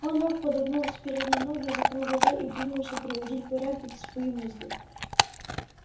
он лёг подогнув с передние ноги закрыл глаза и принялся приводить в порядок свои мысли